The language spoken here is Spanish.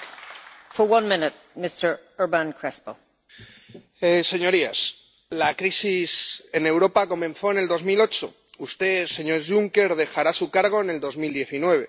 Señora presidenta, señorías, la crisis en Europa comenzó en 2008. Usted, señor Juncker, dejará su cargo en 2019